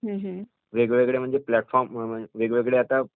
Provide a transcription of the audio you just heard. वेगवेगळे प्लॅटफॉर्म्स वेगवेगळे आता